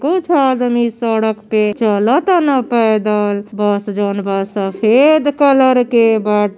कुछ आदमी सड़क पर चलतन पैदल। बस जोवन बा सफेद कलर के बा।